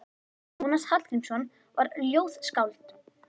Jónas Hallgrímsson var ljóðskáld.